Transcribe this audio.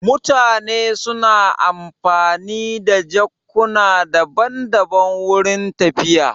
Mutane suna amfani da jakukuna daban daban wurin tafiya